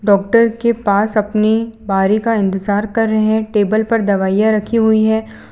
Doctor के पास अपनी बारी का इंतजार कर रहें टेबल पर दवाइयां रखी हुई हैं।